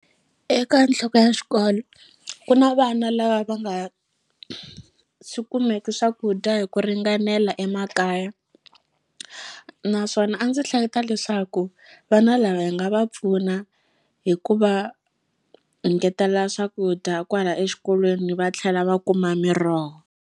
Eka nhloko ya xikolo ku na vana lava va nga swi kumeki swakudya hi ku ringanela emakaya naswona a ndzi hleketa leswaku vana lava hi nga va pfuna hi ku va engetela swakudya kwala exikolweni va tlhela va kuma miroho.